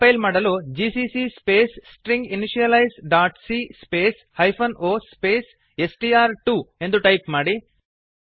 compile ಮಾಡಲು GCC space stringinitializeಸಿಎ string initialize dot C space -oಹೈಫನ್ ಒ ಸ್ಪೇಸ್ ಸ್ಟ್ರ್2 ಎಸ್ ಟಿ ಆರ್ ಟು ಎಂದು ಟೈಪ್ ಮಾಡಿ